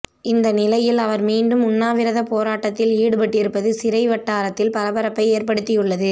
இந்த நிலையில் அவர் மீண்டும் உண்ணாவிரதப் போராட்டத்தில் ஈடுபட்டிருப்பது சிறை வட்டாரத்தில் பரபரப்பை ஏற்படுத்தி உள்ளது